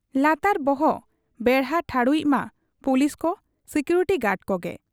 ᱞᱟᱛᱟᱨ ᱵᱚᱦᱚᱜ ᱵᱮᱲᱦᱟ ᱴᱷᱟᱲᱩᱭᱤᱡ ᱢᱟ ᱯᱩᱞᱤᱥ ᱠᱚ, ᱥᱤᱠᱩᱨᱤᱴᱤ ᱜᱟᱰ ᱠᱚᱜᱮ ᱾